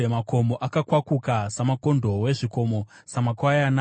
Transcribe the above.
makomo akakwakuka samakondobwe, zvikomo samakwayana.